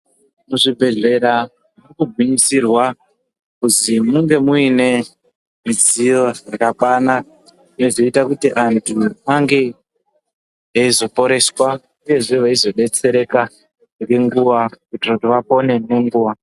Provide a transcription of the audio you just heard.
Muzvibhendlera munogwinyisirwa kuzi munge muine midziyo dzakakwana dzinozoita kuti antu ange eizoporeswa uyezve eizobetsereka nenguva kuitira vapore nenguva